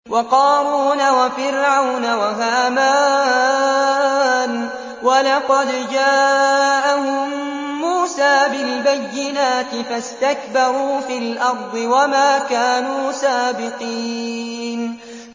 وَقَارُونَ وَفِرْعَوْنَ وَهَامَانَ ۖ وَلَقَدْ جَاءَهُم مُّوسَىٰ بِالْبَيِّنَاتِ فَاسْتَكْبَرُوا فِي الْأَرْضِ وَمَا كَانُوا سَابِقِينَ